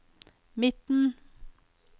midten